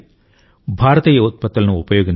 భారతీయ ఉత్పత్తులను ఉపయోగించాలి